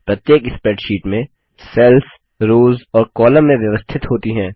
प्रत्येक स्प्रैडशीट में cells rows और कॉलम में व्यवस्थित होती हैं